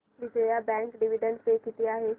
Vijaya bank dividend pay किती आहे